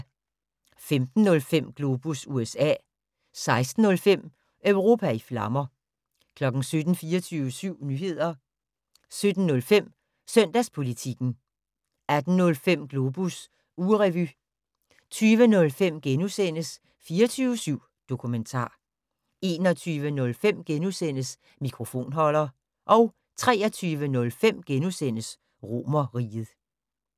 15:05: Globus USA 16:05: Europa i flammer 17:00: 24syv Nyheder 17:05: Søndagspolitikken 18:05: Globus ugerevy 20:05: 24syv Dokumentar * 21:05: Mikrofonholder * 23:05: Romerriget *